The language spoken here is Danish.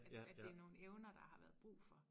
At det nogen evner der har været brug for